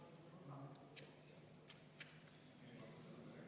Ettepanek leidis toetust.